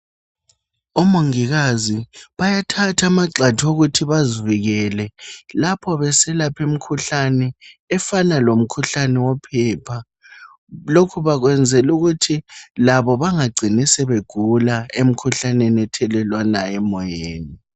Omongikazi bayathatha amagxathu okuthi bazivikele lapho beselapha imkhuhlane efana lomkhuhlane wophepha lokhu bakwenzela ukuthi labo bengacini sebegula emkhuhlaneni ethelelanwayo emoyeni.